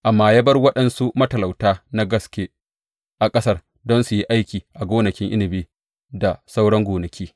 Amma ya bar waɗansu matalauta na gaske a ƙasar don su yi aiki a gonakin inabi, da sauran gonaki.